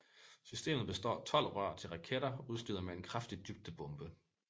Systemet består af tolv rør til raketter udstyret med en kraftig dybdebombe